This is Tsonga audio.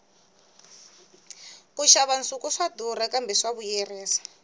ku xava nsuku swa durha kambe swa vuyerisa